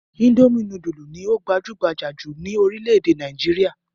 Indomie núdúlù ni ó gbajúgbajà jù ní orílẹ̀-èdè Nàìjíríà.